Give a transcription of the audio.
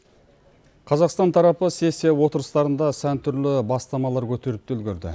қазақстан тарапы сессия отырыстарында сан түрлі бастамалар көтеріп те үлгерді